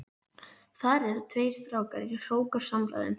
Þar eru tveir strákar í hrókasamræðum.